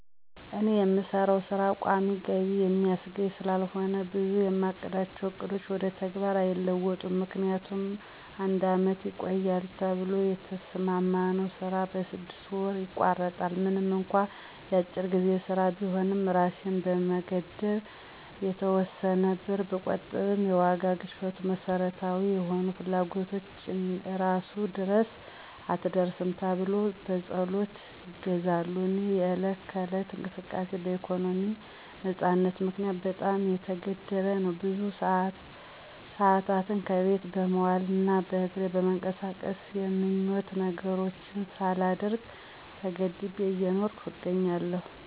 እኔ የምሰራው ሥራ ቋሚ ገቢ የሚያስገኝ ስላልሆነ ብዙ የማቅዳቸው ዕቅዶች ወደ ተግባር አይለወጡም። ምክንያቱም አንድ አመት ይቆያል ተብሎ የተሰማማነው ስራ በስድስተኛ ወሩ ይቋረጣል። ምንም እንኳ የአጭር ጊዜ ሥራ ቢሆንም እራሴን በመገደብ የተወሰነ ብር ብቆጥብም የዋጋ ግሽፈቱ መሠረታዊ የሆኑ ፍላጎቶችን እራሱ ድረስ አትድረስ ተብሎ በፀሎት ይገዛሉ። የእኔ የዕለት ከዕለት እንቅስቃሴ በኢኮኖሚ ነፃነት ምክንያት በጣም የተገደበ ነው። ብዙ ሰአታትን ከቤት በመዋል እና በእግሬ በመንቀሳቀስ የምኞት ነገሮችን ሳላደርግ ተገድቤ እየኖርኩ እገኛለሁ።